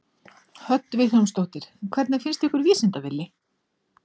Hödd Vilhjálmsdóttir: Hvernig fannst ykkur Vísinda-Villi?